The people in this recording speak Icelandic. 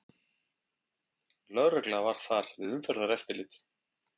Lögregla var þar við umferðareftirlit